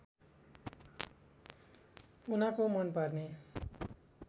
उनको मनपर्ने